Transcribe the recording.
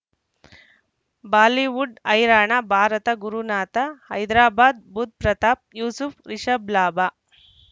Bollywood ಹೈರಾಣ ಭಾರತ ಗುರುನಾಥ ಹೈದರಾಬಾದ್ ಬುಧ್ ಪ್ರತಾಪ್ ಯೂಸುಫ್ ರಿಷಬ್ ಲಾಭ